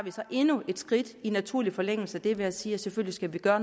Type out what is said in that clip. endnu et skridt i naturlig forlængelse af det ved at sige at selvfølgelig skal vi gøre